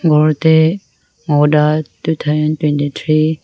dae two thousand twenty three.